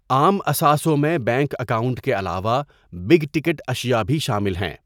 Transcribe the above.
عام اثاثوں میں بینک اکاؤنٹ کے علاوہ بگ ٹکٹ اشیاء بھی شامل ہیں۔